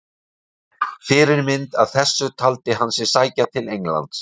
Fyrirmynd að þessu taldi hann sig sækja til Englands.